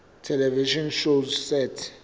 television shows set